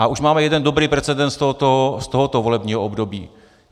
A už máme jeden dobrý precedens z tohoto volebního období.